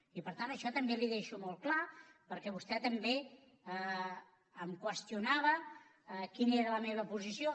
i per tant això també li ho deixo molt clar perquè vostè també em qüestionava quina era la meva posició